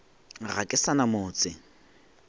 ga ke sa na motse